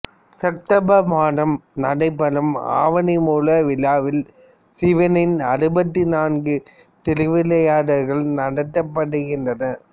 September மாதம் நடைபெறும் ஆவணிமூல விழாவில் சிவனின் அறுபத்து நான்கு திருவிளாயாடல்களும் நடத்தப்படுகின்றன